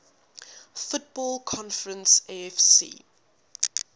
football conference afc